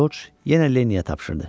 Corc yenə Lenniyə tapşırdı.